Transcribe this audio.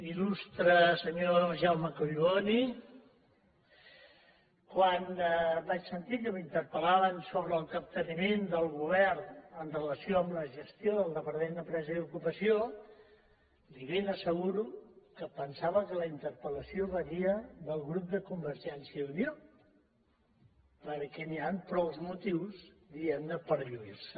il·lustre senyor jaume collboni quan vaig sentir que m’interpel·laven sobre el capteniment del govern amb relació a la gestió del departament d’empresa i ocupació li ben asseguro que pensava que la interpel·lació venia del grup de convergència i unió perquè hi ha prou motius diguem ne per lluir se